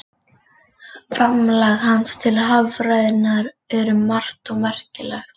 Framlag hans til haffræðinnar er um margt merkilegt.